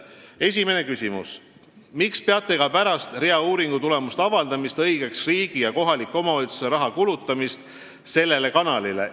Esimene küsimus: "Miks peate ka pärast rea uuringutulemuste avaldamist õigeks riigi ja kohaliku omavalitsuse raha kulutamist sellele kanalile?